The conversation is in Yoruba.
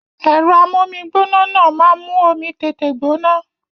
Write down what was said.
Èro amómigbóná náà ma n mú omi tètè gbóná